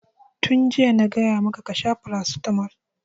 Tun jiya na gaya maka ka sha paracetamol!